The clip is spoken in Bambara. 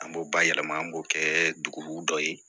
An b'o bayɛlɛma an b'o kɛ dugu dɔ ye